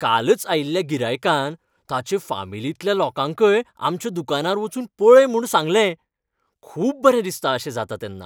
कालच आयिल्ल्या गिरायकान ताचें फामिलींतल्या लोकांकय आमच्या दुकानार वचून पळय म्हूण सांगलें. खूब बरें दिसता अशें जाता तेन्ना.